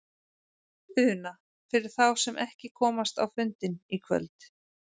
Una: Fyrir þá sem að komast ekki á fundinn í kvöld?